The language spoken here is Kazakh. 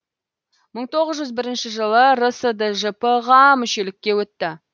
мың тоғыз жүз отыз бірінші жылы рсджп ға мүшелікке өтті